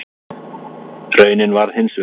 Raunin varð hins vegar önnur.